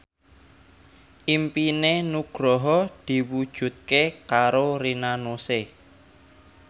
impine Nugroho diwujudke karo Rina Nose